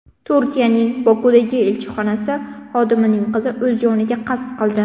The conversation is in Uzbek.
Turkiyaning Bokudagi elchixonasi xodimining qizi o‘z joniga qasd qildi.